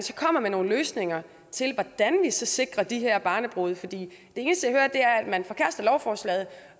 kommer med nogle løsninger til hvordan vi så sikrer de her barnebrude for det eneste at man forkaster lovforslaget